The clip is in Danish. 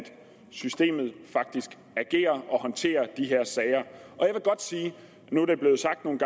systemet faktisk agerer og håndterer de her sager nu er det blevet sagt nogle